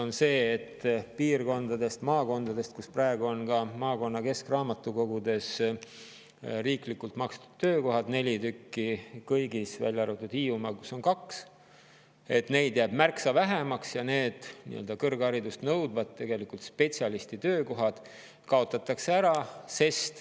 Üks selle aluseid on see, et kui praegu on maakondade keskraamatukogudes riiklikult makstud töökohad – neli tükki kõigis, välja arvatud Hiiumaa, kus on kaks –, siis neid jääb märksa vähemaks ja need kõrgharidust nõudvad spetsialistitöökohad kaotatakse ära.